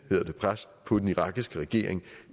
pres på den irakiske regering